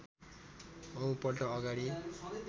औं पल्ट अगाडि